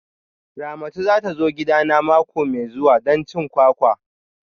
Ramatu za ta zo gidana mako mai zuwa don cin kwakwa